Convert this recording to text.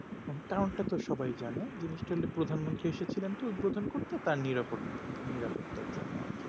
এখন টাউন টা তো সবাই জানে জিনিস টা প্রধান মন্ত্রী এসে ছিলেন তো উদ্বোধন করতে তার নিরা নিরাপত্তার জন্য আর কি